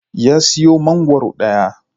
Ya siyo mangwaro daya.